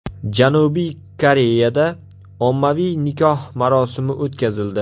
Janubiy Koreyada ommaviy nikoh marosimi o‘tkazildi .